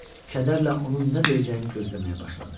Kədərlə onun nə deyəcəyini gözləməyə başladı.